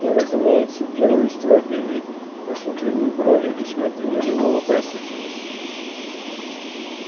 я разумеется делаю строгий вид насупливаю брови и смотрю на него вопросительно